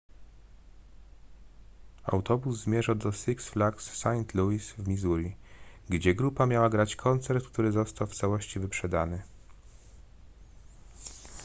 autobus zmierzał do six flags st louis w missouri gdzie grupa miała grać koncert który został w całości wyprzedany